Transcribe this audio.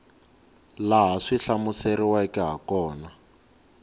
laha swi hlamuseriweke ha kona